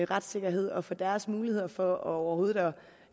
retssikkerhed og for deres muligheder for overhovedet at